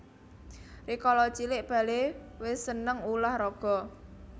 Rikala cilik Bale wis seneng ulah raga